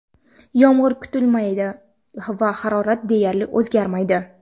Yomg‘ir kutilmaydi va harorat deyarli o‘zgarmaydi.